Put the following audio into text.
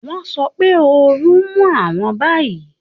Wọ́n sọ pé ooru ń mú àwọn báyìí